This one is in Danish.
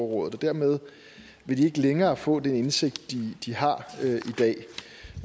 og dermed vil de ikke længere få den indsigt de har